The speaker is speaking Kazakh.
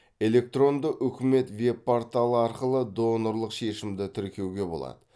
электронды үкімет веб порталы арқылы донорлық шешімді тіркеуге болады